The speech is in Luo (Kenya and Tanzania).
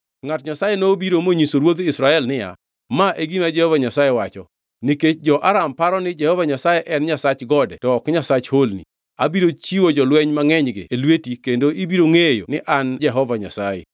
Ngʼat Nyasaye nobiro monyiso ruodh Israel niya, “Ma e gima Jehova Nyasaye wacho, nikech jo-Aram paro ni Jehova Nyasaye en nyasach gode to ok nyasach holni, abiro chiwo jolweny mangʼenygi e lweti kendo ibiro ngʼeyo ni an Jehova Nyasaye.”